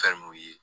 Fɛn mun ye